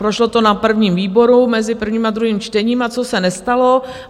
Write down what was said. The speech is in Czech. Prošlo to na prvním výboru mezi prvním a druhým čtením a co se nestalo?